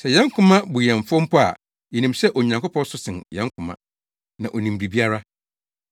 Sɛ yɛn koma bu yɛn fɔ mpo a, yenim sɛ Onyankopɔn so sen yɛn koma, na onim biribiara.